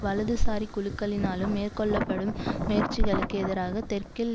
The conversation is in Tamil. வலதுசாரி குழுக்களினாலும் மேற்கொள்ள படும் முயற்சிகளுக்கு எதிராக தெற்கில்